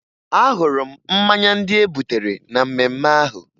Ahụrụ m mmanya ndị e butere na mmemme ahụ